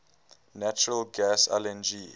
natural gas lng